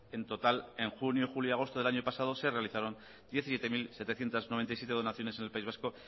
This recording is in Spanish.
en total en junio julio y agosto del año pasado se realizaron diecisiete mil setecientos noventa y siete donaciones en el país vasco